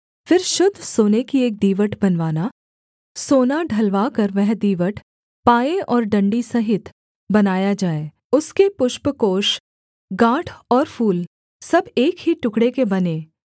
फिर शुद्ध सोने की एक दीवट बनवाना सोना ढलवा कर वह दीवट पाये और डण्डी सहित बनाया जाए उसके पुष्पकोष गाँठ और फूल सब एक ही टुकड़े के बनें